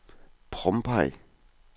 Pompeii